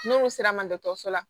N'olu sera ma dɔgɔtɔrɔso la